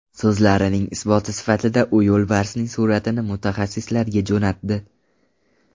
So‘zlarining isboti sifatida u yo‘lbarsning suratini mutaxassislarga jo‘natdi.